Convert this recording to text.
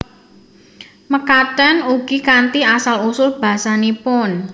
Mekaten ugi kanthi asal usul basanipun